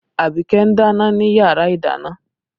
Abike ń dáná ni yàrá ìdáná